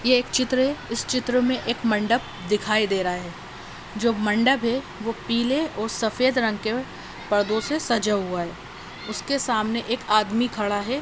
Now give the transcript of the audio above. ये एक चित्र है। इस चित्र में एक मंडप दिखाई दे रहा है। जो मंडप है वो पीले और सफेद रंग के पर्दों से सजा हुआ है। उसके सामने एक आदमी खड़ा है।